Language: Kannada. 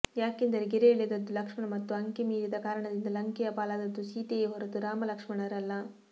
ಯಾಕೆಂದರೆ ಗೆರೆ ಎಳೆದದ್ದು ಲಕ್ಷ್ಮಣ ಮತ್ತು ಅಂಕೆ ಮೀರಿದ ಕಾರಣದಿಂದ ಲಂಕೆಯ ಪಾಲಾದದ್ದು ಸೀತೆಯೇ ಹೊರತು ರಾಮ ಲಕ್ಷ್ಮಣರಲ್ಲ